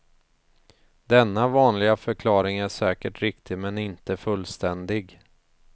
Denna vanliga förklaring är säkert riktig men inte fullständig.